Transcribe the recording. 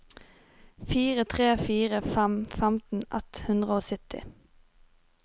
fire tre fire fem femten ett hundre og sytti